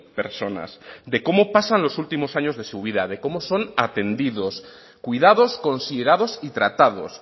personas de cómo pasan los últimos años de su vida de cómo son atendidos cuidados considerados y tratados